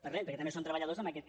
per res perquè també són treballadors en aquest cas